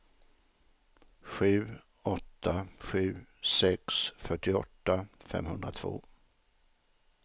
sju åtta sju sex fyrtioåtta femhundratvå